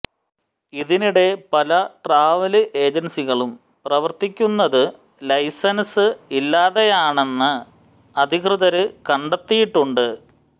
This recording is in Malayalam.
ഇതിനിടെ പല ട്രാവല് ഏജന്സികളും പ്രവര്ത്തിക്കുന്നത് ലൈസന്സ് ഇല്ലാതെയാണെന്ന് അധികൃതര് കണ്ടെത്തിയിട്ടുണ്ട്